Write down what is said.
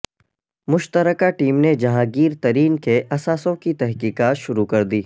مشترکہ ٹیم نے جہانگیر ترین کے اثاثوں کی تحقیقات شروع کر دی